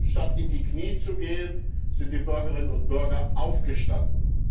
Statt in die Knie zu gehen, sind die Bürgerinnen und Bürger aufgestanden.